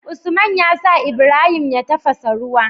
Usman yasa Ibrahim ya tafasa ruwa